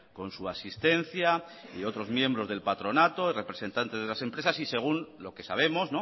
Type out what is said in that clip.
con su asistencia y otros miembros del patronato el representante de las empresas y según lo que sabemos